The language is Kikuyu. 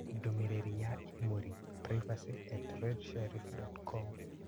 ndũmĩrĩri ya imĩrũ, privacy@redsheriff.com